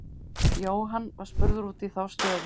Jóhann var spurður út í þá stöðu.